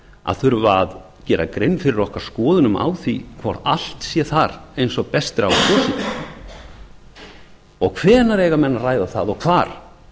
að þurfa að gera grein fyrir okkar skoðunum á því hvort allt sé þar eins og best er á kosið og hvenær eiga enn að ræða það og hvar